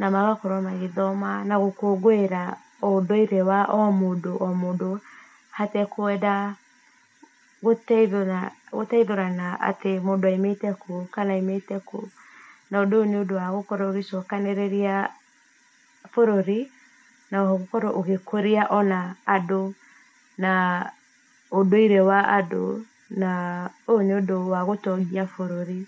na magakorwo magĩthoma na gũkũngũĩra ũndũire wa o mũndũ o mũndũ hatekwenda gũteithũrana atĩ mũndũ aimĩte kũ kana aimĩte kũ, na ũndũ ũyũ nĩ ũndũ wa gũkorwo ũgĩcokanĩrĩria bũrũri na oho gũkorwo ũgĩkũria ona andũ naa ũndũire wa andũ, naa ũyũ nĩũndũ wa gũtongia bũrũri.